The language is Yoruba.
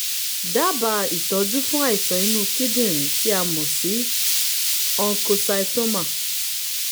dábàá ìtọ́jú fún àìsàn inú kíndìnrín tí a mọ̀ sí oncocytoma